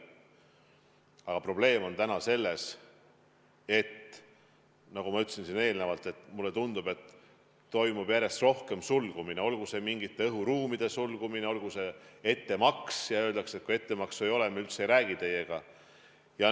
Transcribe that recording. Aga probleem on täna selles, nagu ma ütlesin eelnevalt, et mulle tundub, et järjest rohkem toimub sulgumist, olgu see mingite õhuruumide sulgumine, olgu see ettemaks, näiteks kui öeldakse, et kui ettemaksu ei ole, siis me üldse ei räägi teiega.